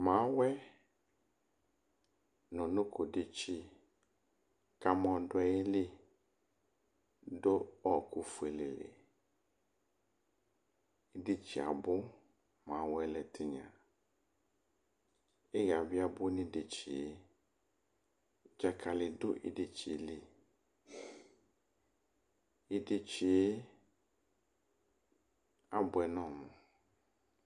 mawɛ nʊ unoko detsi kʊ amɔ dʊ ayili dʊ ɔkʊ fueleli, idetsi yɛ abʊ, mawɛ lɛ tinya, iha bɩ abʊ nʊ idetsi yɛ li Dzakalɩ dʊ ideti yɛ li, idetsi yɛ abuɛ nʊ ɔmʊ